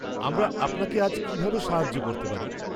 আমরা আপনাকে আজ কিভাবে সাহায্য করতে পারি?